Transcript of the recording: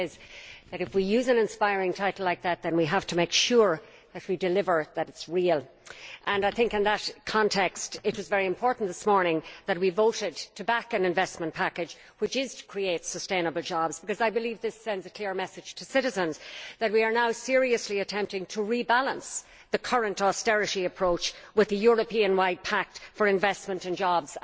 The truth is that if we use an inspiring title like that then we have to make sure that we deliver, that it is real. In that context it is very important that this morning we voted to back an investment package which is to create sustainable jobs, because I believe this sends a clear message to citizens that we are now seriously attempting to rebalance the current austerity approach with a Europe wide pact for investment and jobs.